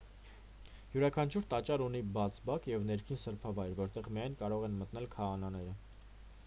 յուրաքանչյուր տաճար ունի բաց բակ և ներքին սրբավայր որտեղ միայն կարող են մտնել քահանաները